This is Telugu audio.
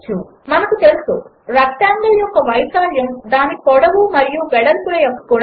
మనకు తెలుసు రెక్టాంగిల్ యొక్క వైశాల్యం దాని పొడవు మరియు వెడల్పుల యొక్క గుణాకారం